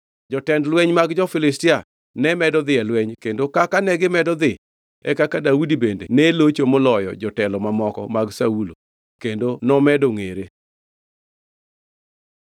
Jotend lweny mag jo-Filistia ne medo dhi e lweny, kendo kaka negimedo dhi e kaka Daudi bende ne locho moloyo jotelo mamoko mag Saulo kendo nomedo ngʼere.